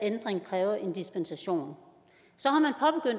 ændring kræver en dispensation så